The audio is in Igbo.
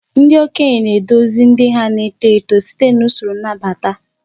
Ndị okenye na-eduzi ndị na-eto eto site n'usoro nnabata.